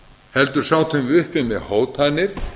heldur sátum við uppi með hótanir